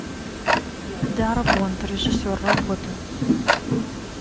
дарабонт режиссер работа